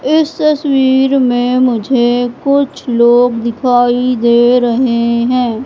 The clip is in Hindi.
इस तस्वीर में मुझे कुछ लोग दिखाई दे रहे हैं।